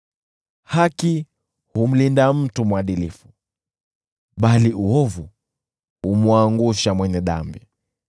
Haki humlinda mtu mwadilifu, bali uovu humwangusha mwenye dhambi.